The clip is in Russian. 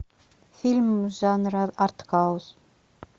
фильм жанра артхаус